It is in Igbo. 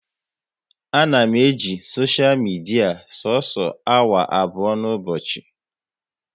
A na m eji soshia midia soso awa abụọ n'ụbọchị